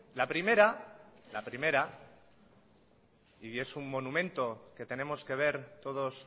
la primera la primera y es un monumento que tenemos que ver todos